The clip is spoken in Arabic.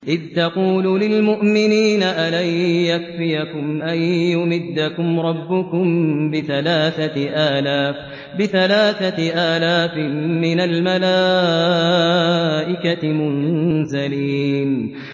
إِذْ تَقُولُ لِلْمُؤْمِنِينَ أَلَن يَكْفِيَكُمْ أَن يُمِدَّكُمْ رَبُّكُم بِثَلَاثَةِ آلَافٍ مِّنَ الْمَلَائِكَةِ مُنزَلِينَ